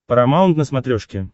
парамаунт на смотрешке